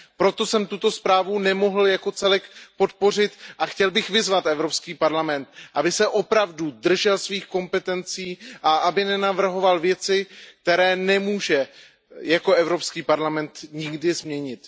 Proto jsem tuto zprávu nemohl jako celek podpořit a chtěl bych vyzvat Evropský parlament, aby se opravdu držel svých kompetencí a aby nenavrhoval věci, které nemůže jako Evropský parlament nikdy změnit.